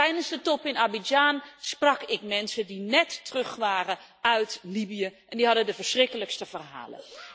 Tijdens de top in Abidjan sprak ik mensen die net terug waren uit Libië en die hadden de verschrikkelijkste verhalen.